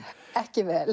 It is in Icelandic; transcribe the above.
ekki vel